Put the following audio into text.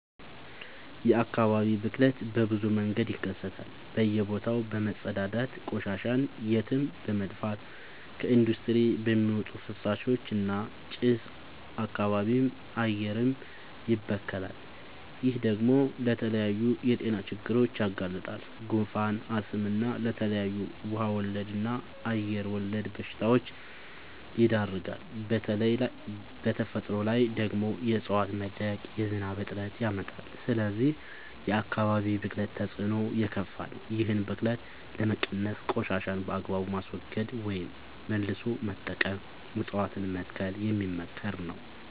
የአካባቢ ብክለት በብዙ መንገድ ይከሰታል በእየ ቦታው በመፀዳዳት፤ ቆሻሻን የትም በመድፍት፤ ከኢንዲስትሪ በሚወጡ ፍሳሾች እና ጭስ አካባቢም አየርም ይበከላል። ይህ ደግሞ ለተለያዩ የጤና ችግሮች ያጋልጣል። ጉንፋን፣ አስም እና ለተለያዩ ውሃ ወለድ እና አየር ወለድ በሽታወች ይዳርጋል። በተፈጥሮ ላይ ደግሞ የዕፀዋት መድረቅ የዝናብ እጥረት ያመጣል። ስለዚህ የአካባቢ ብክለት ተፅዕኖው የከፋ ነው። ይህን ብክለት ለመቀነስ ቆሻሻን በአግባቡ ማስወገድ ወይም መልሶ መጠቀም እፀዋትን መትከል የሚመከር ነው።